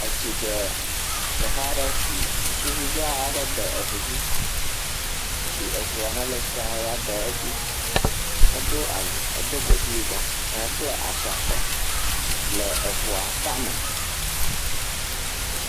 Etsi ɖe teƒe aɖe si ŋutsuvi dzaa aɖe de eŋudzi si eŋua ya le tsia me ya de edzi. Edo awu, edo godi yibɔ ehekpla ashi akɔ le eŋua tame.